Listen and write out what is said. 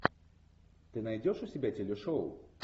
ты найдешь у себя телешоу